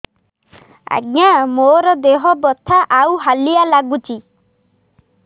ଆଜ୍ଞା ମୋର ଦେହ ବଥା ଆଉ ହାଲିଆ ଲାଗୁଚି